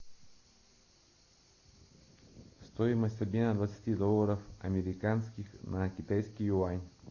стоимость обмена двадцати долларов американских на китайский юань